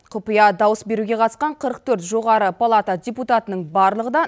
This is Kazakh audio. құпия дауыс беруге қатысқан қырық төрт жоғары палата депутатының барлығы да